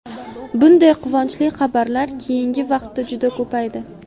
Bunday quvonchli xabarlar keyingi vaqtda juda ko‘paydi.